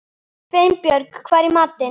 Sveinbjörg, hvað er í matinn?